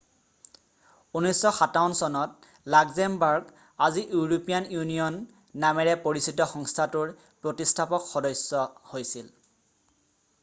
1957 চনত লাক্সেমবাৰ্গ আজি European Union নামেৰে পৰিচিত সংস্থাটোৰ প্ৰতিষ্ঠাপক সদস্য হৈছিল